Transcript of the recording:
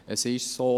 Es ist so: